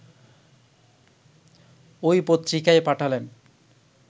ঐ পত্রিকায় পাঠালেন